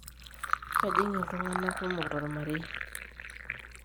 kejing' iltunganak kumok tolmarei